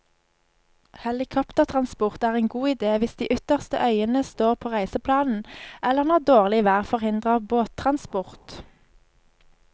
Helikoptertransport er en god idé hvis de ytterste øyene står på reiseplanen, eller når dårlig vær forhindrer båttransport.